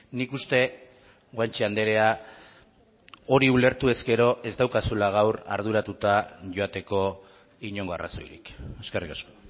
nik uste guanche andrea hori ulertu ezkero ez daukazula gaur arduratuta joateko inongo arrazoirik eskerrik asko